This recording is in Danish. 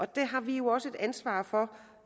der har vi også et ansvar for